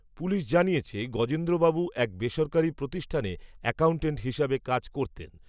police জানিয়েছে, গজেন্দ্রবাবু এক বেসরকারি প্রতিষ্ঠানে, অ্যাকাউন্টেন্ট হিসেবে কাজ করতেন